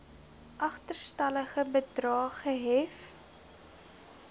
agterstallige bedrae gehef